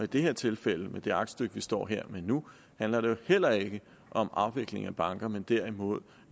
det her tilfælde med det aktstykke vi står her med nu handler det jo heller ikke om afvikling af banker men derimod